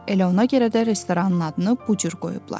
Elə ona görə də restoranın adını bu cür qoyublar.